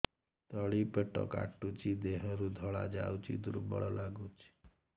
ତଳି ପେଟ କାଟୁଚି ଦେହରୁ ଧଳା ଯାଉଛି ଦୁର୍ବଳ ଲାଗୁଛି